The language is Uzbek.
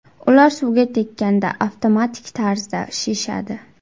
Ular suvga tekkanda avtomatik tarzda shishadi.